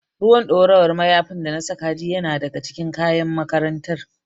Ruwan ɗorawar mayafin da na saka jiya yana daga cikin kayan makarantar.